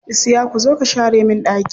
Isiyaku zo ka share min ɗaki.